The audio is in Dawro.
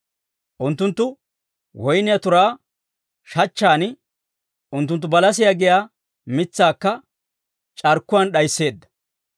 Unttunttu woyniyaa turaa shachchan, unttunttu balasiyaa giyaa mitsaakka c'arkkuwaan d'ayisseedda.